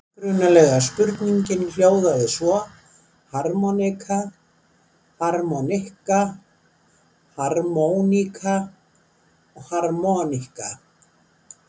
Upprunalega spurningin hljóðaði svo: Harmonika, harmonikka, harmóníka, harmoníka?